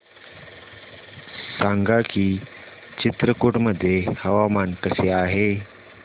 सांगा की चित्रकूट मध्ये हवामान कसे आहे